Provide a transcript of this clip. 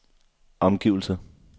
omgivelser